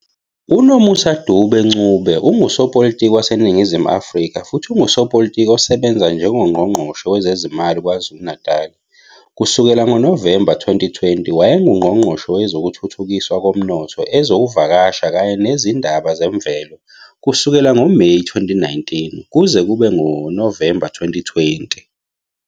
UNomusa Dube-Ncube ungusopolitiki waseNingizimu Afrika futhi ungusopolitiki osebenza njengoNgqongqoshe wezeziMali KwaZulu-Natal kusukela ngoNovemba 2020. WayenguNgqongqoshe Wezokuthuthukiswa Komnotho, Ezokuvakasha kanye Nezindaba Zemvelo kusukela ngoMeyi 2019 kuze kube nguNovemba 2020.